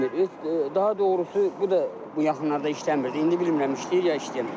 İşləmir, daha doğrusu bu da bu yaxınlarda işləmirdi, indi bilmirəm işləyir ya işləmir.